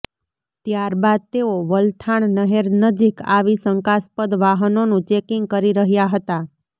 ત્યારબાદ તેઓ વલથાણ નહેર નજીક આવી શંકાસ્પદ વાહનોનું ચેકિંગ કરી રહ્યા હતા